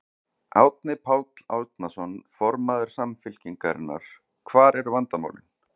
Árni Páll Árnason, formaður Samfylkingarinnar: Hvar eru vandamálin?